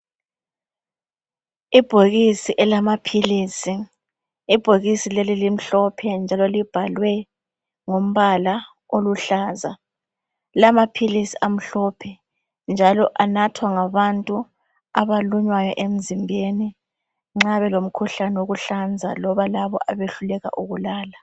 Ibhokisi elamaphilisi elimhlophe elibhalwe ngombala oluhlaza. Lamaphilisi amhlophe njalo anathwa ngabantu abalunywayo emzimbeni nxa belumkhuhlane wokuhlanza loba labo abehluka ukulala.